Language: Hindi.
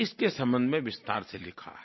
इसके संबंध में विस्तार से लिखा है